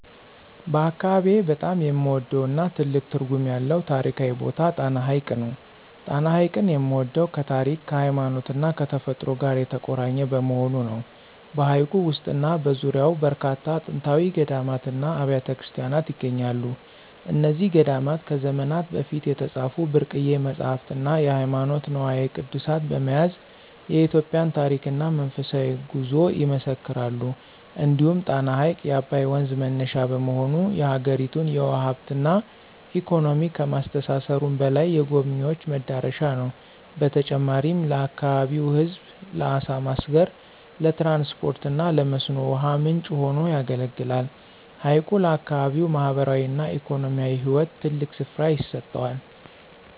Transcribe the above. በአካባቢዬ በጣም የምወደውና ትልቅ ትርጉም ያለው ታሪካዊ ቦታ ጣና ሐይቅ ነው። ጣና ሐይቅን የምወደው ከታሪክ፣ ከሃይማኖትና ከተፈጥሮ ጋር የተቆራኘ በመሆኑ ነው። በሐይቁ ውስጥና በዙሪያው በርካታ ጥንታዊ ገዳማትና አብያተ ክርስቲያናት ይገኛሉ። እነዚህ ገዳማት ከዘመናት በፊት የተጻፉ ብርቅዬ መጻሕፍትና ሃይማኖታዊ ንዋየ ቅድሳት በመያዝ የኢትዮጵያን ታሪክና መንፈሳዊ ጉዞ ይመሰክራሉ። እንዲሁም ጣና ሐይቅ የአባይ ወንዝ መነሻ በመሆኑ፣ የአገሪቱን የውሃ ሀብትና ኢኮኖሚ ከማስተሳሰሩም በላይ፣ የጎብኝዎች መዳረሻ ነው። በተጨማሪም ለአካባቢው ሕዝብ ለዓሣ ማስገር፣ ለትራንስፖርትና ለመስኖ ውሃ ምንጭ ሆኖ ያገለግላል። ሐይቁ ለአካባቢው ማኅበራዊና ኢኮኖሚያዊ ሕይወት ትልቅ ስፍራ ይሰጠዋል።